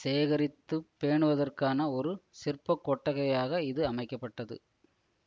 சேகரித்து பேணுவதற்கான ஒரு சிற்பக் கொட்டகையாக இது அமைக்க பட்டது